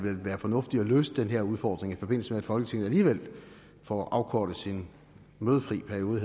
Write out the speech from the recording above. være fornuftigt at løse den her udfordring i forbindelse med at folketinget alligevel får afkortet sin mødefri periode